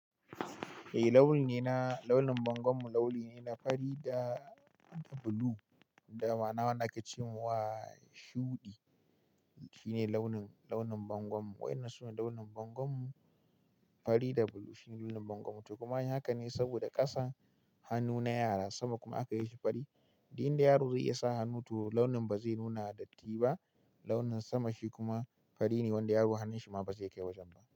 Eh launi ne na launin bangon mu lauli ne na fari da blue da ma na wanda ka ce mun wa shuɗi. Shi ne launin, launin bangon mu wai nasu launin bangon mu fari da blue shine launin bangon mu to kuma haka ne saboda ƙasa hannu na yara sama kuma aka yi shi fari. Diya yaro zai iya sa hannu to launin ba zai nuna datti ba launin sama shi kuma fari ne wanda yaro hannun shi ma ba zai kai wajen ba.